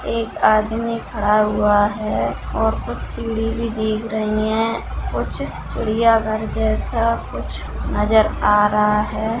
एक आदमी खड़ा हुआ है और कुछ सीढ़ी भी दिख रहीं हैं कुछ चिड़ियाघर जैसा कुछ नज़र आ रहा है।